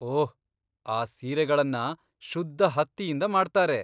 ಓಹ್, ಆ ಸೀರೆಗಳನ್ನ ಶುದ್ಧ ಹತ್ತಿಯಿಂದ ಮಾಡ್ತಾರೆ.